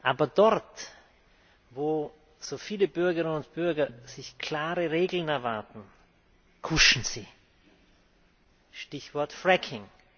Aber dort, wo so viele Bürgerinnen und Bürger klare Regeln erwarten, kuschen Sie Stichwort Fracking.